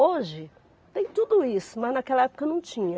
Hoje tem tudo isso, mas naquela época não tinha.